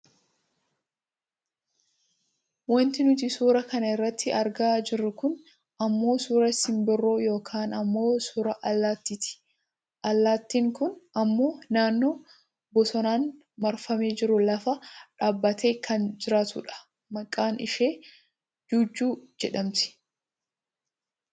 Wanti nuti suuraa kana irratti argaa jirru kun ammoo suuraa simbirroo yookaan ammoo suuraa allattiiti. Allaattin kun ammoo naannoo bosonaan marfamee jiru lafa dhaabbattee kan jirtudha. Maqaan ishee jajjuu jedhamti.